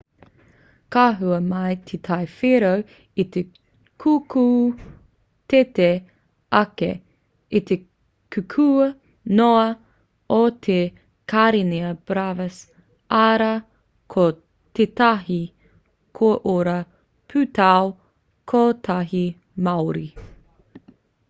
ka hua mai te tai whero i te kukū teitei ake i te kukū noa o te karenia brevis arā ko tētahi koiora pūtau-kotahi māori